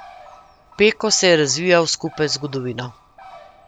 Peko se je razvijal skupaj z zgodovino.